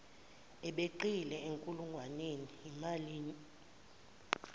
abeqile enkulungwaneni yimalini